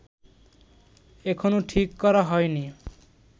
এখনো ঠিক করা হয় নি